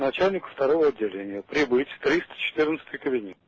начальнику второго отделения прибыть в триста четырнадцатый кабинет